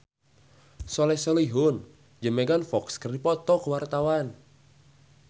Soleh Solihun jeung Megan Fox keur dipoto ku wartawan